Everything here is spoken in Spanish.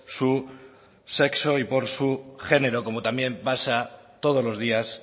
su sexo y por su género como también pasa todos los días